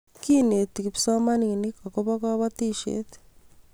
kineti kipsomaninik akobo kabotishee